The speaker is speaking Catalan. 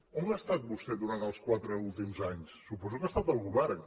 on ha estat vostè durant els quatre últims anys suposo que ha estat al govern